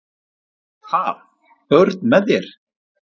"""Ha, börn með þér?"""